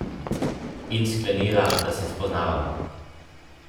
In sklenila, da se spoznavava.